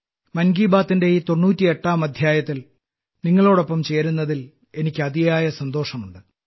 മൻ കി ബാത്തിന്റെ ഈ 98ാം അദ്ധ്യായത്തിൽ നിങ്ങളോടൊപ്പം ചേരുന്നതിൽ എനിക്ക് അതിയായ സന്തോഷമുണ്ട്